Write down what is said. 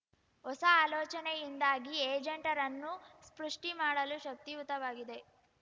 ಹೊಸ ಆಲೋಚನೆಯಿಂದಾಗಿ ಏಜೆಂಟರನ್ನು ಸೃಷ್ಠಿ ಮಾಡಲು ಶಕ್ತಿಯುತವಾಗಿದೆ